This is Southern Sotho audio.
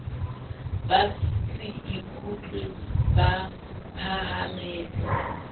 ba se ikutlwe ba phahametse